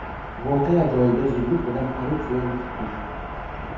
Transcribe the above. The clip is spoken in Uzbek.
Voqea joyiga zudlik bilan politsiya yetib keldi.